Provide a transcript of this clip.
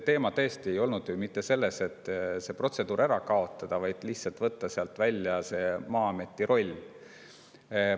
Asi tõesti ei ole ju mitte selles, et see protseduur ära kaotada, vaid lihtsalt võtta sealt Maa-ameti roll välja.